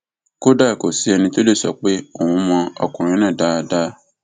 kódà kò sẹni tó lè sọ pé òun mọ ọkùnrin náà dáadáa